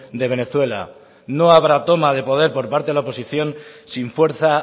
de venezuela no habrá toma de poder por parte de la oposición sin fuerza